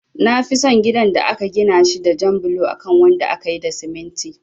Nafi son gidan da aka gina shi da jan bulo akan wanda akayi da siminti